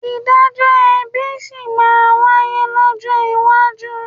Ìdájọ́ ẹ̀bi sì máa wáyé lọ́jọ́ iwájú.